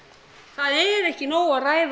það er ekki nóg að ræða